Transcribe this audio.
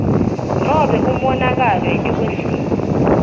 nobe umonakalo etikwesimo